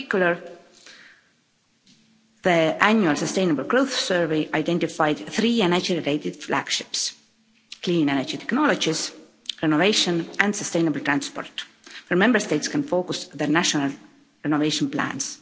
In particular, the Annual Sustainable Growth Strategy identified three energy related flagships clean energy technologies, renovation and sustainable transport where Member States can focus their national renovation plans.